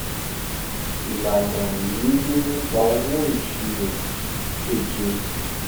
ìlànà ìrírí nípa owó ìṣirò keje